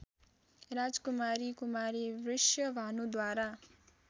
राजकुमारी कुमारी वृषभानुद्वारा